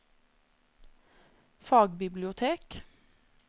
fagbibliotek